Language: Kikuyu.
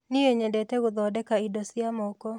Nĩi nyendete gũthondeka indo cia moko.